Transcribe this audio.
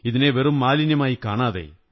ഇതിനെ വെറും മാലിന്യമായി കാണാതെ